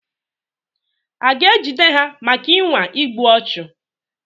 A ga-ejide ha maka ịnwa igbu ọchụ?